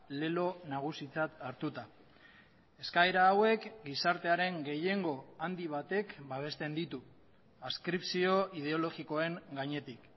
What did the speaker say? lelo nagusitzat hartuta eskaera hauek gizartearen gehiengo handi batek babesten ditu adskripzio ideologikoen gainetik